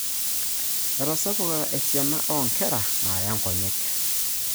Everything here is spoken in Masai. Etasapuka esiana oo nkera naaya nkonyek.